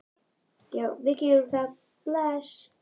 Já, við gerum það. Bless.